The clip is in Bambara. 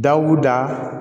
Dawuda